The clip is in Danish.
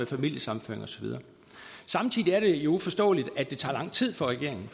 familiesammenføring og så videre samtidig er det uforståeligt at det tager lang tid for regeringen